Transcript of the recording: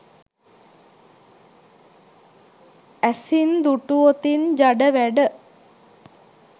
ඇසින් දුටුවොතින් ජඩ වැඩ